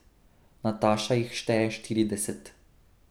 Nataša jih šteje štirideset.